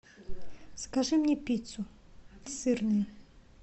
закажи мне пиццу сырную